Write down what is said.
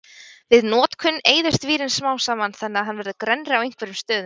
Við notkun eyðist vírinn smám saman þannig að hann verður grennri á einhverjum stöðum.